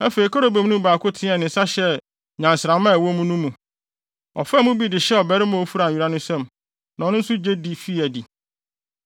Afei kerubim no mu baako teɛɛ ne nsa hyɛɛ nnyansramma a ɛwɔ wɔn mu no mu. Ɔfaa mu bi de hyɛɛ ɔbarima a ofura nwera no nsam, na ɔno nso gye de fii adi.